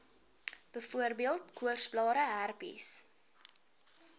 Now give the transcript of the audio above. byvoorbeeld koorsblare herpes